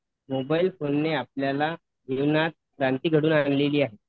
Mobile फोनने आपल्याला जीवनात क्रांती घडून आणली आहे.